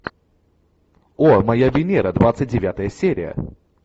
о моя венера двадцать девятая серия